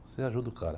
Você ajuda o cara.